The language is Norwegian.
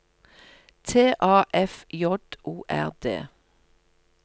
T A F J O R D